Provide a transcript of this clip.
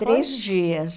Três dias.